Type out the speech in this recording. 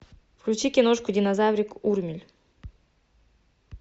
включи киношку динозаврик урмель